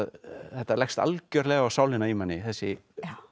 þetta leggst algjörlega á sálina í manni þessi